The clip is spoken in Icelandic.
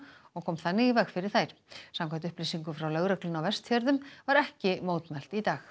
og kom þannig í veg fyrir þær samkvæmt upplýsingum frá lögreglunni á Vestfjörðum var ekki mótmælt í dag